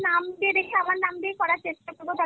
নাম দিয়ে দেখি আমার নাম দিয়েই করার চেষ্টা করবো